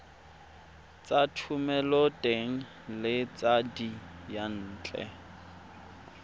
tsa thomeloteng le tsa diyantle